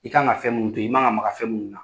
I kan ŋa fɛn mun dun, i man ŋa maga fɛn mun na